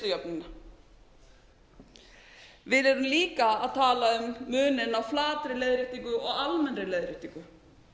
greiðslujöfnunina við erum líka að tala um muninn flatri leiðréttingu og almennri leiðréttingu